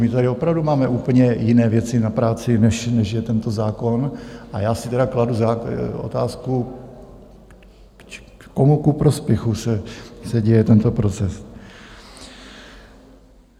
My tady opravdu máme úplně jiné věci na práci, než je tento zákon, a já si tedy kladu otázku, komu ku prospěchu se děje tento proces?